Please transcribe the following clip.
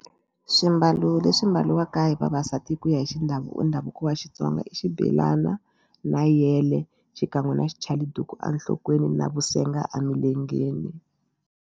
Swimbalo leswi mbaliwaka hi vavasati hi ku ya hi ndhavuko wa Xitsonga i xibelana na yele xikan'we na xichaliduku enhlokweni na vusenga emilengeni.